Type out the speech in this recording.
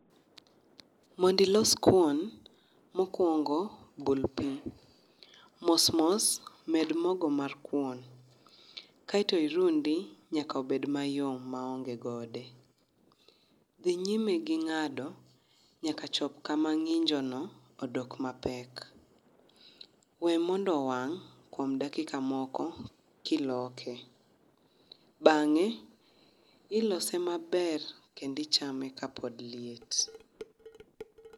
Mondo ilos kuon mokuongo bul pii, mos mos med mogo mar kuon kaito irundi nyaka obed mayom maonge gode, dhi nyime gi ngado nyaka chopo kama nginjo no odok mapek, we mondo owang' kuom dakika moko kiloke, bange ilose maber kendo icham ekapod liet